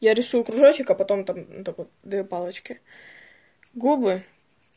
я рисую кружочек а потом там вот так вот две палочки губы